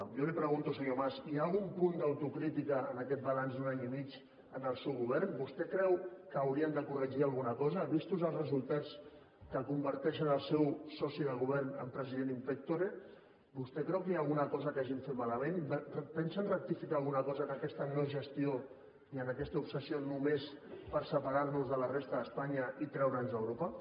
jo li pregunto senyor mas hi ha algun punt d’autocrítica en aquest balanç d’un any i mig en el seu govern vostè creu que haurien de corregir alguna cosa vistos els resultats que converteixen el seu soci de govern en president in pectorehagin fet malament pensen rectificar alguna cosa en aquesta no gestió i en aquesta obsessió només per separar nos de la resta d’espanya i treure’ns d’europa